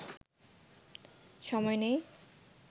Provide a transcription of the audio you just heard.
সময় নেই